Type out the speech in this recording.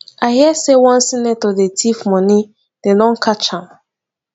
i hear say one senator dey thief money dem don catch am